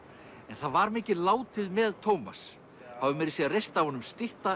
en það var mikið látið með Tómas það var meira að segja reist af honum stytta